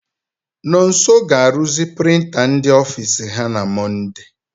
Nonso ga-aruzi prịnta ndị ofiisi ha na Mọnde.